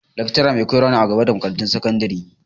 Lakcara mai koyar wa ne a makarantun gaba da sakandari.